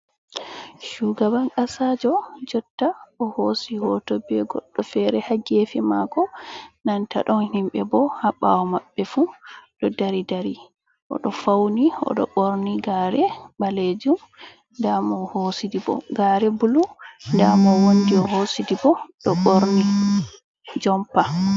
shuga ban kasajo jotta o hosi hoto be goɗɗo fere, hagefi mako nanta ɗon himɓe bo ha ɓawo maɓɓe fu ɗo dari dari o ɗo fauni, o ɗo ɓorni gare ɓalejum, damo o hosi di bo gare bulu, nda mo o wondi o hosi dibo ɗo ɓorni jompa.